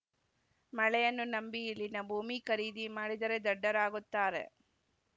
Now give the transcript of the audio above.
ಮಳೆಯನ್ನು ನಂಬಿ ಇಲ್ಲಿನ ಭೂಮಿ ಖರೀದಿ ಮಾಡಿದರೆ ದಡ್ಡರಾಗುತ್ತಾರೆ